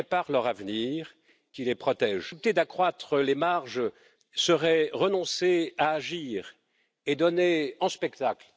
les Européens. Notre budget nous invite, mes chers collègues, à mettre nos actes à la hauteur de nos paroles.